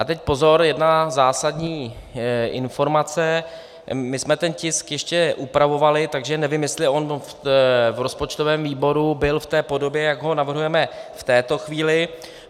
A teď pozor, jedna zásadní informace: My jsme ten tisk ještě upravovali, takže nevím, jestli on v rozpočtovém výboru byl v té podobě, jak ho navrhujeme v této chvíli.